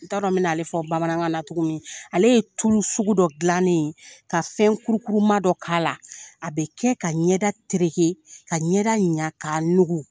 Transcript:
N ta dɔn n mɛna ale fɔ bamanankan na tugu min, ale ye tulu sugu dɔ dilanen ye ka fɛn kurukuruma dɔ k'a la, a bɛ kɛ ka ɲɛda tereke ka ɲɛda ɲa ka nugu.